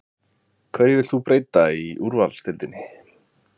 Hverju viltu breyta í úrvalsdeildinni?